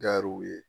Gariwu ye